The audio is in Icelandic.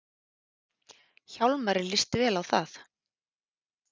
Hjálmari líst vel á það.